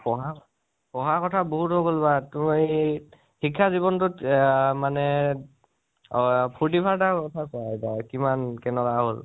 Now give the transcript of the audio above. পঢ়া, পঢ়াৰ কথা বাহুত হৈ গল তোমাৰ সেই শিক্ষা জীৱনটোত এহ মানে অ ফুৰ্তি ফাৰ্তাৰ কথা কোৱা এইবাৰ, কিমান কেনেকোৱা হʼল?